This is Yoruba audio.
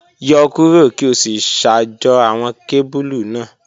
Yọ kuro ki o si ṣajọ awọn kebulu naa